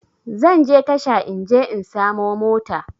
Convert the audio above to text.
Zanje tasha in je in samo mota